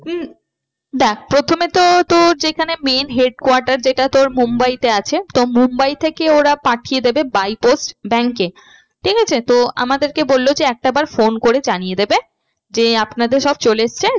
উম দেখ প্রথমে তো তোর যেখানে main headquarters যেটা তোর mumbai তে আছে। তো mumbai থেকে ওরা পাঠিয়ে দেবে by post bank এ ঠিক আছে তো আমাদেরকে বললো যে একটাবার phone করে জানিয়ে দেবে যে আপনাদের সব চলে এসছে